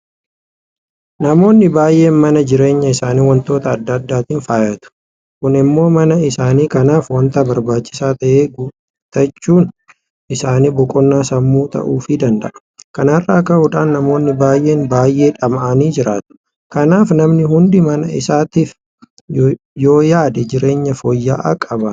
Namoonni baay'een mana jireenya isaanii waantota adda addaatiin faayyatu. Kun immoo mana isaanii kanaaf waanta barbaachisaa ta'e guuttachuun isaanii boqonnaa sammuu ta'uufii danda'a. Kana irraa ka'uudhaan namoonni baay'een baay'ee dhama'anii jiraatu. Kanaaf namni hundi mana isaatiif yooyaade jireenya fooyya'aa qabaata.